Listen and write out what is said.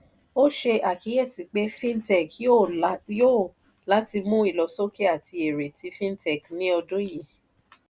ó ṣe àkíyèsí pé fintech yòò la yóò láti mú ìlọsókè àti èré tí fintech ní ọdún yìí.